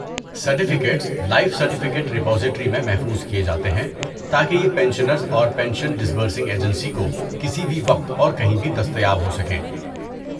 Certificates life certificate repository میں محفوظ کیے جاتے ہیں تاکہ یہ پنشنرز اور پینشن ڈسبرسنگ ایجنسی کو کسی بھی وقت اور کہیں بھی دستیاب ہو سکیں۔